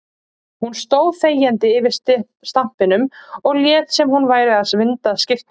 Hún stóð þegjandi yfir stampinum og lét sem hún væri að vinda skyrtuna.